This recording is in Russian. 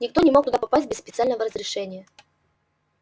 никто не мог туда попасть без специального разрешения